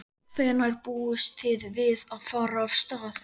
Hvenær búist þið við að fara af stað?